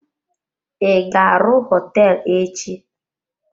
I ga-arụ hoteelu echi?